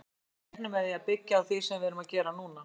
Við reiknum með að byggja á því sem við erum að gera núna.